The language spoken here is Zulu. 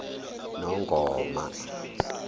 nongoma